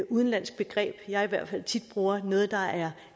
udenlandsk begreb jeg i hvert fald tit bruger noget der er